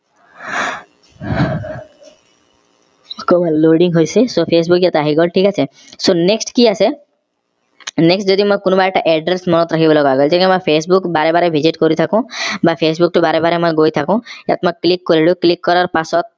loading হৈছে so facebook ইয়াত আহি গল ঠিক আছে so next কি আছে next যদি মই কোনোবা এটা address মনত ৰাখিব লগা হল তেতিয়া মই facebook বাৰে বাৰে visit কৰি থাকো বা facebook টো বাৰে বাৰে মই গৈ থাকো ইয়াত মই click কৰিলো click কৰাৰ পাছত